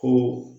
Kun